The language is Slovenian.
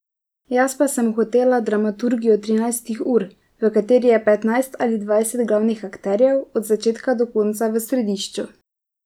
Jaz pa sem hotel dramaturgijo trinajstih ur, v kateri je petnajst ali dvajset glavnih akterjev od začetka do konca v središču.